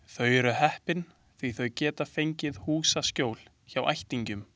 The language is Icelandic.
Þau eru heppin því þau gátu fengið húsaskjól hjá ættingjum.